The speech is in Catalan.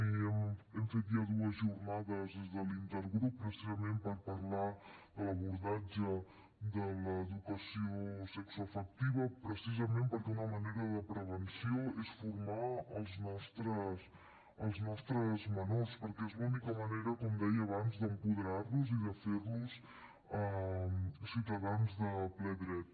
i hem fet ja dues jornades des de l’intergrup precisament per parlar de l’abordatge de l’educació sexoafectiva precisament perquè una manera de prevenció és formar els nostres menors perquè és l’única manera com deia abans d’apoderar los i de fer los ciutadans de ple dret